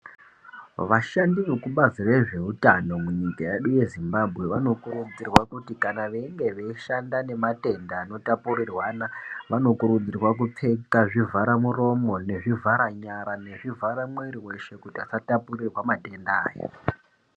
Vashandi vekubhazi rezvehutano munyika yedu yeZimbabwe vanokurudzirwa kuti kana veyinge veyishanda nematenda anotapurirwana, vanokurudzirwa kupfeka zvivharamuromo, nezvivhara nyara, nezvivhara mwiri weshe kuti vasatapurirwa matenda aya.